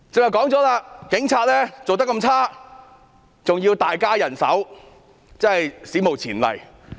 我剛才提到，警察的表現差劣，還要大增人手，這是史無前例的。